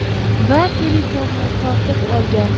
Va telefonni tortib olgan.